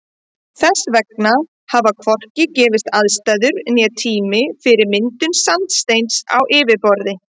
Þess vegna hafa hvorki gefist aðstæður né tími fyrir myndun sandsteins á yfirborði.